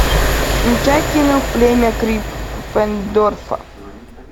включай кино племя криппендорфа